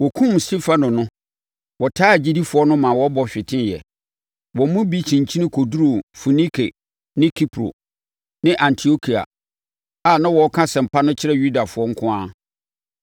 Wɔkumm Stefano no, wɔtaa agyidifoɔ no maa wɔbɔ hweteeɛ, Wɔn mu bi kyinkyini kɔduruu Foinike, ne Kipro, ne Antiokia a na wɔreka asɛmpa no kyerɛ Yudafoɔ nko ara.